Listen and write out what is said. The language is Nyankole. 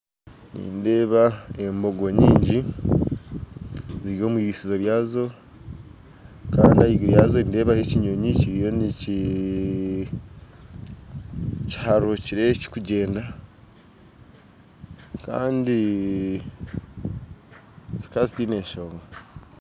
Nindeeba embogo nyingi ziri omwirisinzo ryazo kandi ahaiguru yaazo nindeebayo ekinyonyi kiharukire kiriyo nikigyenda kandi zikaba zitaine nshonga